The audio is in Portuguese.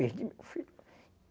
Perdi meu filho.